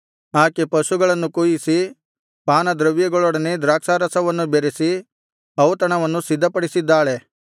ಆಕೆ ಪಶುಗಳನ್ನು ಕೊಯಿಸಿ ಪಾನದ್ರವ್ಯಗಳೊಡನೆ ದ್ರಾಕ್ಷಾರಸವನ್ನು ಬೆರಸಿ ಔತಣವನ್ನು ಸಿದ್ಧಪಡಿಸಿದ್ದಾಳೆ